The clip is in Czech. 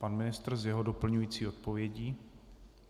Pan ministr s jeho doplňující odpovědí.